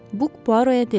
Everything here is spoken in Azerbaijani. Buk Puaroa dedi.